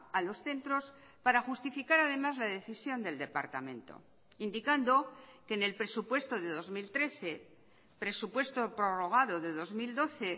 a los centros para justificar además la decisión del departamento indicando que en el presupuesto de dos mil trece presupuesto prorrogado de dos mil doce